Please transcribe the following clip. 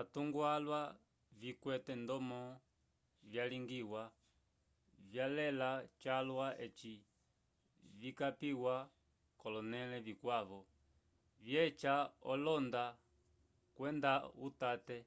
atungo alwa vikwete ndomo vyalingiwa vyalela calwa eci vikapiwa k'olonẽle vikwavo vyeca olohonda kwenda utate